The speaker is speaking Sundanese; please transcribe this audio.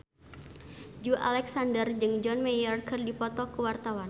Joey Alexander jeung John Mayer keur dipoto ku wartawan